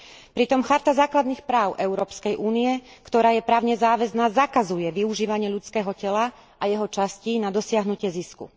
Pritom Charta základných práv Európskej únie, ktorá je právne záväzná, zakazuje využívanie ľudského tela a jeho častí na dosiahnutie zisku.